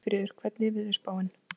Svanfríður, hvernig er veðurspáin?